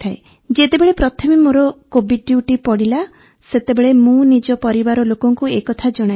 ଯେତେବେଳେ ପ୍ରଥମେ ମୋର କୋଭିଡ୍ ଡ୍ୟୁଟି ପଡ଼ିଲା ସେତେବେଳେ ମୁଁ ନିଜ ପରିବାର ଲୋକଙ୍କୁ ଏ କଥା ଜଣାଇଲି